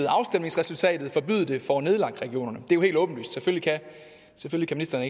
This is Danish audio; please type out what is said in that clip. afstemningsresultatet forbyde det får nedlagt regionerne det er jo helt åbenlyst selvfølgelig kan